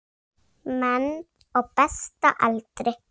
Menn á besta aldri.